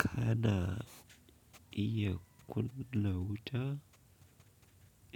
Kana iya kunna wuta,